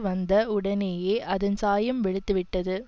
வந்த உடனேயே அதன் சாயம் வெளுத்துவிட்டது